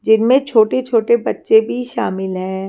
जिनमें छोटे छोटे बच्चे भी शामिल हैं।